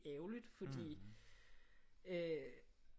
Ærgerligt fordi øh